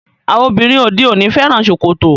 Àwọn obìnrin òde òní fẹ́ràn ṣòkòtò.